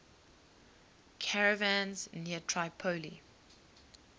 caravans near tripoli